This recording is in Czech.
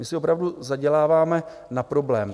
My si opravdu zaděláváme na problém.